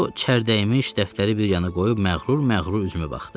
O çərtəyimmiş dəftəri bir yana qoyub məğrur-məğrur üzümə baxdı.